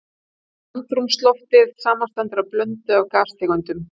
Andrúmsloftið samanstendur af blöndu af gastegundum.